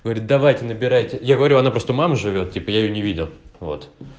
говорит давайте набирайте я говорю она просто у мамы живёт теперь я не видел вот